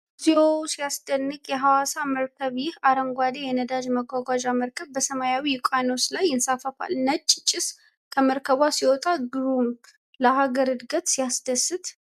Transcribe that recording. እግዚኦ! ሲያስደንቅ! የሐዋሳ መርከብ! ይህ አረንጓዴ የነዳጅ ማጓጓዣ መርከብ በሰማያዊ ውቅያኖስ ላይ ይንሳፈፋል። ነጭ ጭስ ከመርከቧ ሲወጣ ግሩም!። ለሀገር እድገት ሲያስደስት!